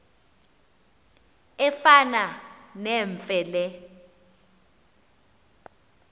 efana nemfe le